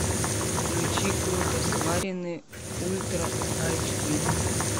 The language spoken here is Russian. включи круто сваренные ультра айч ди